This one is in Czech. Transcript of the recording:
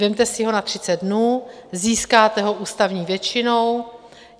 Vezměte si ho na 30 dnů, získáte ho ústavní většinou.